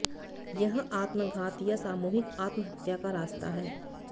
यह आत्मघात या सामूहिक आत्महत्या का रास्ता है